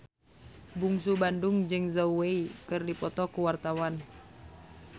Bungsu Bandung jeung Zhao Wei keur dipoto ku wartawan